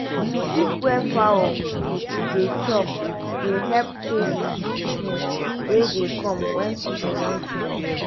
to keep where foul dey chop dey help chase sickness wey dey come when season wan change.